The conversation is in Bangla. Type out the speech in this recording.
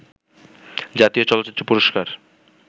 জাতীয় চলচ্চিত্র পুরস্কার